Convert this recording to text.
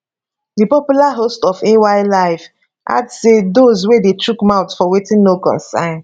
di popular host of ay live add say doz wey dey shook mouth for wetin no concern